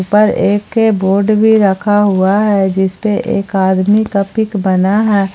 पर एक बोर्ड भी रखा हुआ है जिस पे एक आदमी का पिक बना है।